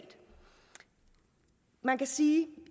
man kan sige